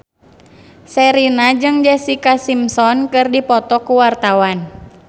Sherina jeung Jessica Simpson keur dipoto ku wartawan